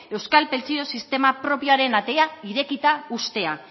euskal pentsio sistema propioaren atea irekita uztea